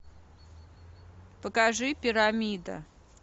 покажи пирамида